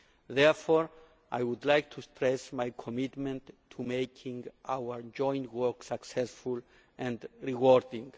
Therefore I would like to stress my commitment to making our joint work successful and rewarding.